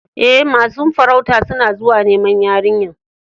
E, masun farautan suna zuwa niman yarinyan.